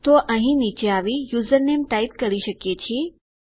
તો અહીં નીચે આવી યુઝરનેમ ટાઈપ કરી શકીએ છીએ